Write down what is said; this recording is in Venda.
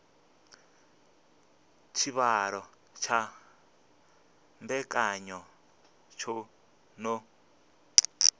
tshivhalo tsha mbekanya tsho no